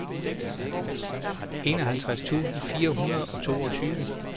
enoghalvtreds tusind fire hundrede og toogtyve